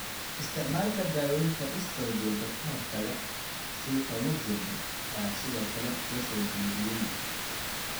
Isticmaalka daaweynta estrogen-ka-hortagga, sida tamoxifen, ayaa sidoo kale la soo jeediyay.